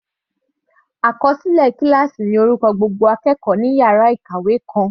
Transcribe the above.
Àkọsílẹ kíláásì ní orúkọ gbogbo akẹ́kọ̀ọ́ ní yàrá ìkàwé kan.